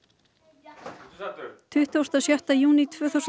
tuttugasta og sjötta júní tvö þúsund og sextán varð ljóst